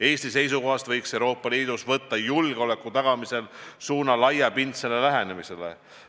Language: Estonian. Eesti seisukohast võiks Euroopa Liidus võtta julgeoleku tagamisel suuna laiapindsele lähenemisele.